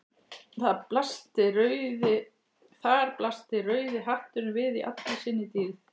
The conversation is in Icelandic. Þar blasti rauði hatturinn við í allri sinni dýrð.